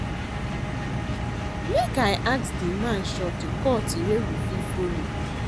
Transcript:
Make I ask di man shortcut wey we fit folo.